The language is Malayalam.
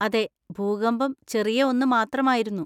അതെ, ഭൂകമ്പം ചെറിയ ഒന്ന് മാത്രമായിരുന്നു.